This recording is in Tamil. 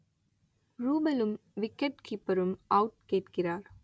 ரூபலும் விக்கெட் கீப்பரும் அவுட் கேட்கிறார்